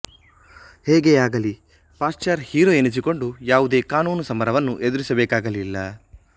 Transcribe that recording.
ಹೇಗೆಯಾಗಲಿ Pasteur hero ಎನಿಸಿಕೊಂಡು ಯಾವುದೇ ಕಾನೂನು ಸಮರವನ್ನು ಎದುರಿಸಬೇಕಾಗಲಿಲ್ಲ